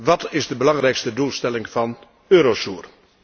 Wat is de belangrijkste doelstelling van Eurosur?